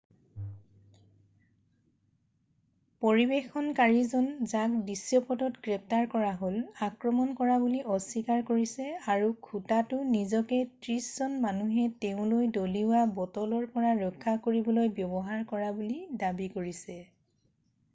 পৰিৱেশনকাৰীজন যাক দৃশ্যপটত গ্ৰেপ্তাৰ কৰা হ'ল আক্ৰমণ কৰা বুলি অস্বীকাৰ কৰিছে আৰু খুটাটো নিজকে ত্ৰিশজন মানুহে তেওঁলৈ দলিওৱা বটলৰ পৰা ৰক্ষা কৰিবলৈ ব্যৱহাৰ কৰা বুলি দাবী কৰিছে